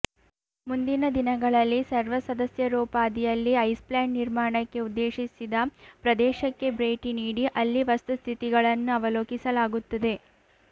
ಮುಂದಿನ ದಿನಗಳಲ್ಲಿ ಸರ್ವ ಸದಸ್ಯರೋಪಾದಿಯಲ್ಲಿ ಐಸ್ಪ್ಲಾಂಟ್ ನಿರ್ಮಾಣಕ್ಕೆ ಉದ್ದೇಶಿಸಿದ ಪ್ರದೇಶಕ್ಕೆ ಭೇಟಿ ನೀಡಿ ಅಲ್ಲಿ ವಸ್ತುಸ್ಥಿತಿಗಳನ್ನು ಅವಲೋಕಿಸಲಾಗುತ್ತದೆ